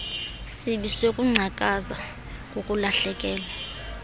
sibi sokungcakaza kukulahlekelwa